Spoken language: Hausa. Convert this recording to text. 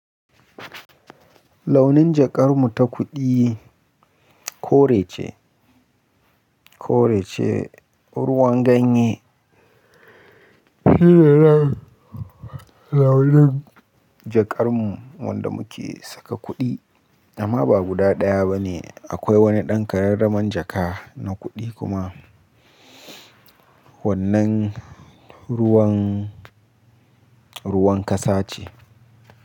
Launin jakar mu ta kuɗi kore ce, kore ce ruwan ganye. Shi ne ran launin jakar mu wanda muke saka kuɗi amma ba guda ɗaya ba ne akwai wani ɗan kararramin jaka na kuɗi kuma wannan ruwan, ruwan kasa ce.